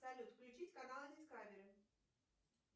салют включить канал дискавери